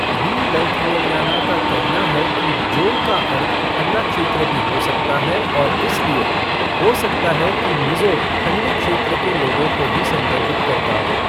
B Lalthangliana का कहना है कि 'जो' का अर्थ 'ठंडा क्षेत्र' भी हो सकता है और इसलिए, हो सकता है कि मिज़ो ठंडे क्षेत्र के लोगों को भी संदर्भित करता हो।